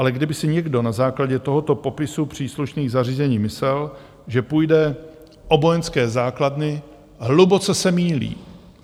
Ale kdyby si někdo na základě tohoto popisu příslušných zařízení myslel, že půjde o vojenské základny, hluboce se mýlí.